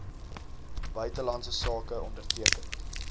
buitelandse sake onderteken